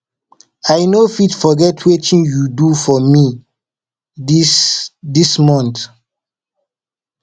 i no fit forget wetin you do for me this this month